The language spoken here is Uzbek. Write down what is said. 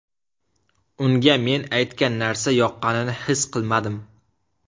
Unga men aytgan narsa yoqqanini his qilmadim.